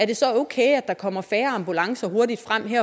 det så er okay at der kommer færre ambulancer hurtigt frem i